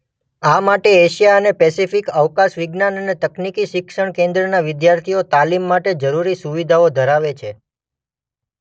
આ માટે એશિયા અને પેસિફિક અવકાશવિજ્ઞાન અને તકનિકી શિક્ષણ કેન્દ્રના વિદ્યાર્થીઓ તાલીમ માટે જરૂરી સુવિધાઓ ધરાવે છે.